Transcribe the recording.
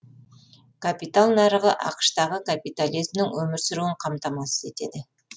капитал нарығы ақш тағы капитализмнің өмір сүруін қамтамасыз етеді